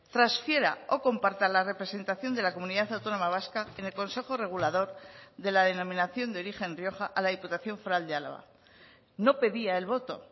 transfiera o comparta la representación de la comunidad autónoma vasca en el consejo regulador de la denominación de origen rioja a la diputación foral de álava no pedía el voto